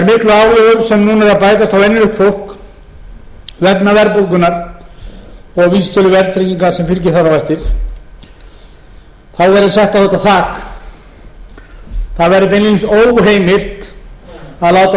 núna eru að bætast á venjulegt fólk vegna verðbólgunnar og vísitölu verðtryggingar sem fylgir þar á eftir þá verði sett á þetta þak það verði beinlínis óheimilt að láta